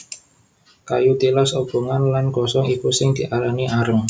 Kayu tilas obongan lan gosong iku sing diarani areng